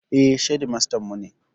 Eh, shedimastan mu kenan